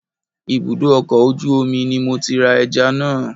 Ibùdó ọkọ̀ ojú omi ni mo ti ra ẹja náà